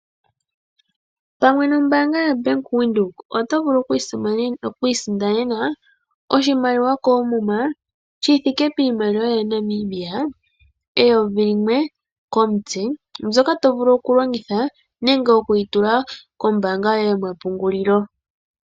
Pamwe nombanga yaBank Windhoek oto vulu oku isindanena oshimaliwa komuma shithike piimaliwa yaNamibia 1000 komutse mbyoka to vulu okulongitha nenge wuyi tule kombanga yoye yomapungulilo.